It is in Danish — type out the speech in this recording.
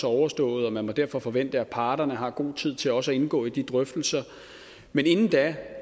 overstået og man derfor må forvente at parterne har god tid til også at indgå i de drøftelser men inden da